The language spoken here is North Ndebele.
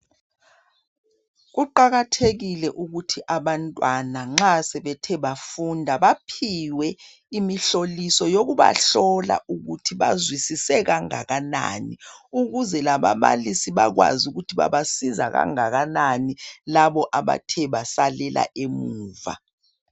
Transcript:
Kuqakathekile ukuthi abantwana nxa sebethe bafunda ,baphiwe imihloliso yokubahlola ukuthi bazwisise kangakanani. Ukuze lababalisi bakwazi ukuthi babasiza kangakanani labo abathe basalela emuva .